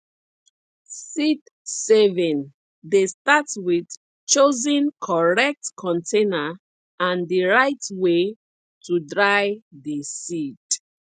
seedsaving dey start with choosing correct container and the right way to dry the seed